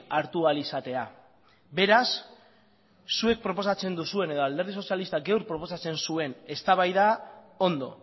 hartu ahal izatea beraz zuek proposatzen duzuen edo alderdi sozialistak gaur proposatzen zuen eztabaida ondo